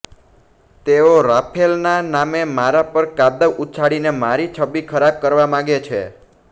તેઓ રાફેલના નામે મારા પર કાદવ ઉછાળીને મારી છબિ ખરાબ કરવા માગે છે